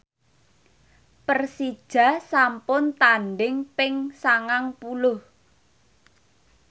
Persija sampun tandhing ping sangang puluh